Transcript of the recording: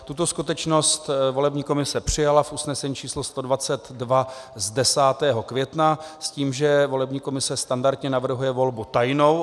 Tuto skutečnost volební komise přijala v usnesení číslo 122 z 10. května s tím, že volební komise standardně navrhuje volbu tajnou.